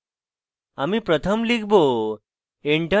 আমি pratham লিখব